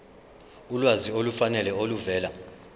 ulwazi olufanele oluvela